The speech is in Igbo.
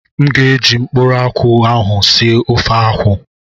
M ga eji mkpuru akwụ ahụ sie ofe akwụ